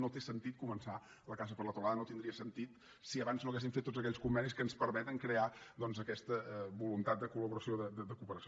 no té sentit començar la casa per la teulada no tindria sentit si abans no haguéssim fet tots aquells convenis que ens permeten crear doncs aquesta voluntat de colperació